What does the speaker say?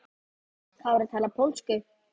Kári talar pólsku.